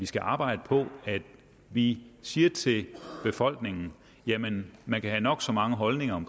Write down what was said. skal arbejde på at vi siger til befolkningen at man man kan have nok så mange holdninger